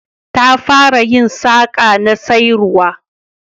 Ta fara yin saƙa na sayarwa